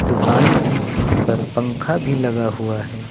दुकान की छत पर पंखा भी लगा हुआ है।